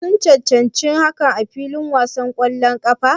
Shin sun cancanci hakan a filin wasan ƙwallon ƙafa?